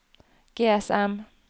GSM